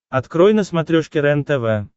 открой на смотрешке рентв